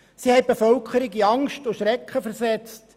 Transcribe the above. Sie haben die Bevölkerung in Angst und Schrecken versetzt;